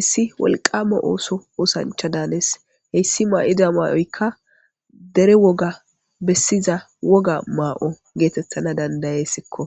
issi wolqama ooso oosancha daanes heyssi maa7ida maa7oykka dere woga bessiza woga maa7o geetettana dandayessikko.